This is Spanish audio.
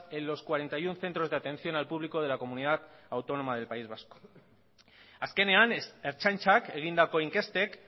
en los cuarenta y uno centros de atención al público de la comunidad autónoma del país vasco azkenean ertzaintzak egindako inkestek